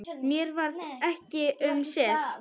Mér varð ekki um sel.